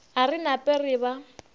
a re nape re ba